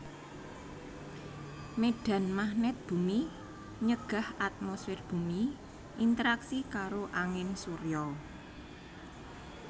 Médhan magnèt bumi nyegah atmosfèr bumi interaksi karo angin surya